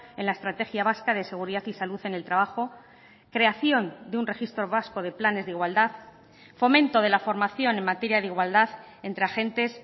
en la estrategia vasca de seguridad y salud en el trabajo creación de un registro vasco de planes de igualdad fomento de la formación en materia de igualdad entre agentes